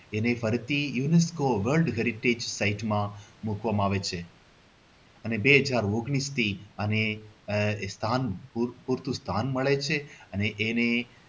એને ફરીથી એને world ofheritage ની site માં મૂકવામાં આવે છે અને બે હજાર ઓન્ગ્લીસથી અને આહ સ્થાન પૂરતું સ્થાન મેળવે છે અને એને